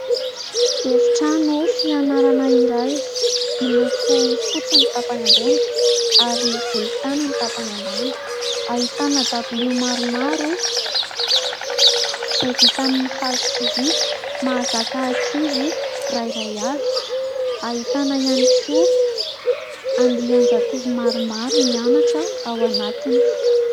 Efitrano fianarana iray miloko fotsy ny tampany ambony ary volon-tany ny tampany ambany. Ahitana dabilio maromaro izay vita amin'ny hazo sy vy. Mahaza ankizy iray iray avy. Ahitana ihany koa andian-jatovo maromaro mianatra ao anatiny.